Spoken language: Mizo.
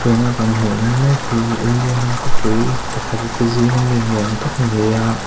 tunah kan hmu lai mek hi india ram khawpui pakhat te zing a mi ni awm tak a ni a.